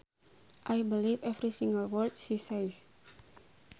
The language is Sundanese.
I believe every single word she says